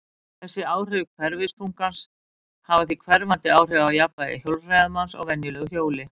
Þessi áhrif hverfiþungans hafa því hverfandi áhrif á jafnvægi hjólreiðamanns á venjulegu hjóli.